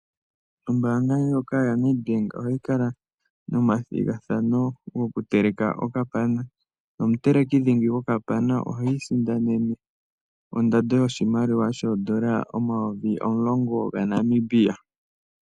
Ombaanga yoNedbank ohayi kala nomathigathano gokuteleka okapana. Omuteleki dhingi gwokapana oha sindana ondando yoshimaliwa shoondola omayovi omulongo gaNamibia.